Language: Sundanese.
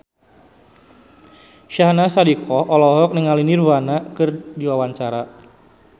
Syahnaz Sadiqah olohok ningali Nirvana keur diwawancara